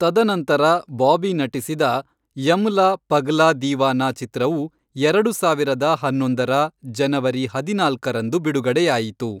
ತದನಂತರ ಬಾಬಿ ನಟಿಸಿದ, ಯಮ್ಲಾ ಪಗ್ಲಾ ದೀವಾನಾ, ಚಿತ್ರವು ಎರಡು ಸಾವಿರದ ಹನ್ನೊಂದರ ಜನವರಿ ಹದಿನಾಲ್ಕರಂದು ಬಿಡುಗಡೆಯಾಯಿತು.